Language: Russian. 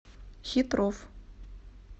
хитров